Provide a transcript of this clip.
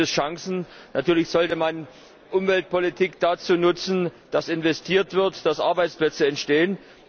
Natürlich gibt es Chancen, natürlich sollte man Umweltpolitik dazu nutzen, dass investiert wird, dass Arbeitsplätze entstehen.